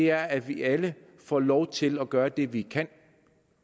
er at vi alle får lov til at gøre det vi kan